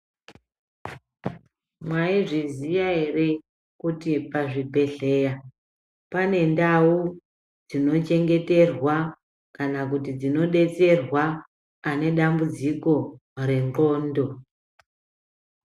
Mwaizviziya ere, kuti pazvibhedhleya pane ndau dzinochengeterwa, kana kuti dzinobetserwa ,ane dambudziko rendxondo?